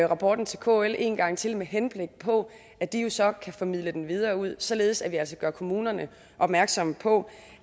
rapporten til kl en gang til med henblik på at de så kan formidle den videre ud således at vi altså gør kommunerne opmærksomme på